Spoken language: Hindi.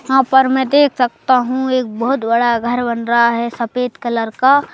यहां पर मैं देख सकता हूं एक बहुत बड़ा घर बन रहा है सफेद कलर का--